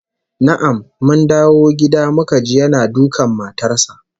Na'am, mun dawo gida muka ji yana dukan matar sa